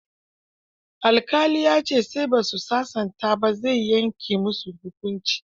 Alƙali ya ce sai ba su sasanta ba, zai yanke musu hukuncin.